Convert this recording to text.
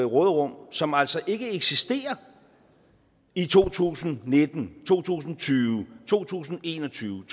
råderum som altså ikke eksisterer i to tusind og nitten to tusind og tyve to tusind og en og tyve